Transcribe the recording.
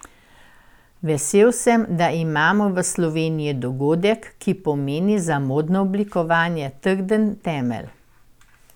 Vesel sem, da imamo v Sloveniji dogodek, ki pomeni za modno oblikovanje trden temelj.